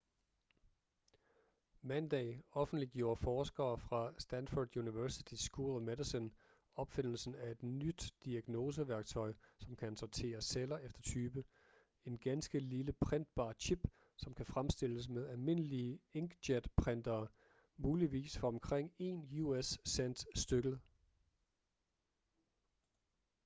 mandag offentliggjorde forskere fra stanford universitys school of medicine opfindelsen af et nyt diagnoseværktøj som kan sortere celler efter type en ganske lille printbar chip som kan fremstilles med almindelige inkjetprintere muligvis for omkring én us-cent stykket